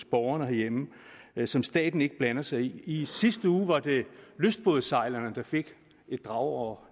borgerne herhjemme som staten ikke blander sig i i sidste uge var det lystbådesejlerne der fik et drag over